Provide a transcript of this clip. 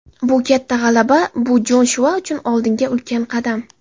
Bu katta g‘alaba, bu Joshua uchun oldinga ulkan qadam.